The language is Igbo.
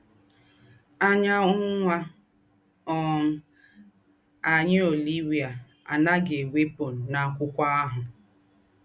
Ányá ứnwà um ànyị́ Ólíwíà ànà́ghị̣ ewẹ̀pụ̀ n’ákwụ́kwọ́ àhụ́.